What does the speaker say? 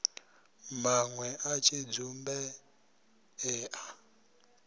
manwe a tshidzumbe e a